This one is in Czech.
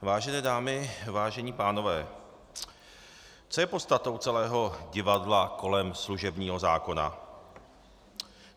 Vážené dámy, vážení pánové, co je podstatou celého divadla kolem služebního zákona?